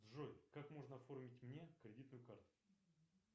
джой как можно оформить мне кредитную карту